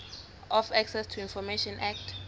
of access to information act